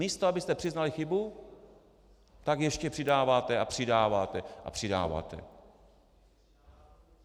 Místo abyste přiznali chybu, tak ještě přidáváte a přidáváte a přidáváte.